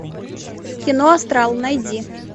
кино астрал найди